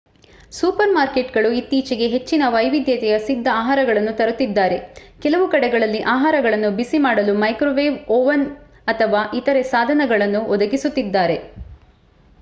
Super ಮಾರ್ಕೇಟ್‌ಗಳು ಇತ್ತೀಚೆಗೆ ಹೆಚ್ಚಿನ ವೈವಿಧ್ಯತೆಯ ಸಿಧ್ದ ಆಹಾರಗಳನ್ನು ತರುತಿದ್ದಾರೆ. ಕೆಲವು ಕಡೆಗಳಲ್ಲಿ ಆಹಾರಗಳನ್ನು ಬಿಸಿ ಮಾಡಲು ಮೈಕ್ರೋವೇವ್ ಓವನ್ ಅಥವಾ ಇತರೇ ಸಾಧನಗಳನ್ನೂ ಒದಗಿಸುತ್ತಿದ್ದಾರೆ